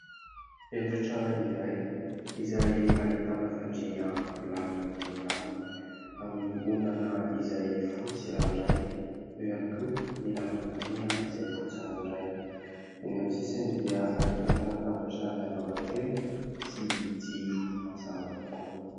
Efitra iray izay ahitana fandrina milamina dia milamina, amin'ny ondana izay fotsy ranoray, eo iany koa ny lambam-pandriana izay fotsy ranoray ; eny amin'ny sisiny dia ahitana latabatra miavaka kely sy jiro mazava tokoa.